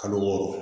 Kalo wɔɔrɔ